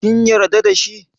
Kin yarda da shi?